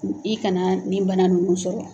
I kana ni bana ninnu sɔrɔ.